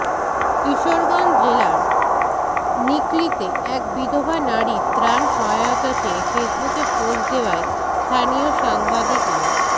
কিশোরগঞ্জ জেলার নিকলীতে এক বিধবা নারীর ত্রাণ সহায়তা চেয়ে ফেসবুকে পোস্ট দেওয়ায় স্থানীয় সাংবাদিক মো